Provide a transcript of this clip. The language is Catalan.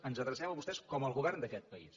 ens adrecem a vostès com el govern d’aquest país